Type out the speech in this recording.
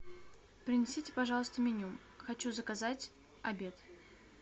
принесите пожалуйста меню хочу заказать обед